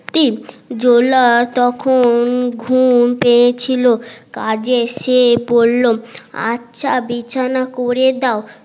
জোলা তখন ঘুম পেয়েছিল কাজের সে বললো আচ্ছা বিছানা করে দাও